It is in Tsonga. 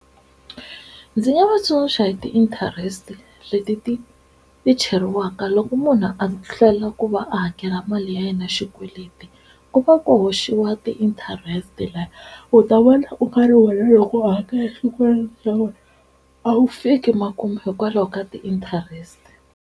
Ndzi nga va tsundzuxa hi ti-interest-e leti ti ti cheriwaka loko munhu a hlwela ku va a hakela mali ya yena xikweleti ku va ku hoxiwa ti-interest-e laya u ta vona u karhi wena loko u hakela xikweleti xa wena a wu fika makumu hikwalaho ka ti-interest-e